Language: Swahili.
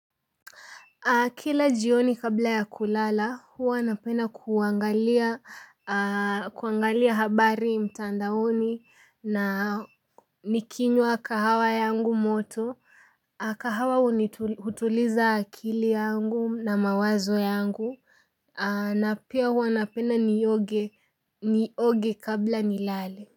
Kila jioni kabla ya kulala huwa napenda kuangalia kuangalia habari mtandaoni na nikinywa kahawa yangu moto, kahawa hutuliza akili yangu na mawazo yangu, na pia huwa napenda nioge kabla nilale.